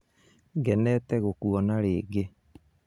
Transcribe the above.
Ngenete gũkũona rĩngĩ